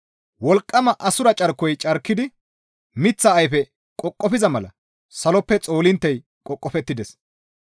Wolqqama assura carkoy carkidi miththa ayfe qoqofiza mala saloppe xoolinttey qoqofettides.